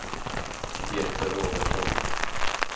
Peter Robertsson